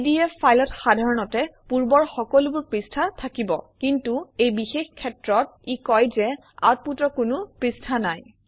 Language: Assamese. পিডিএফ ফাইলত সাধাৰণতে পূৰ্বৰ সকলোবোৰ পৃষ্ঠা থাকিব কিন্তু এই বিশেষ ক্ষেত্ৰত ই কয় যে আউটপুটৰ কোনো পৃষ্ঠা নাই